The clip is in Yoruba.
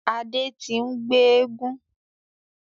Adé tí n gbe éégún.